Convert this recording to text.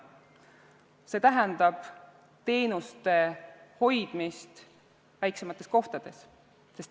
See tähendab teenuste hoidmist väiksemates kohtades.